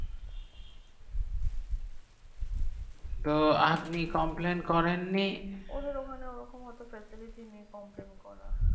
তো আপনি complain করেন নি ওদের ওখানে ও রকম হতে চাইছিলো জিনি complain করা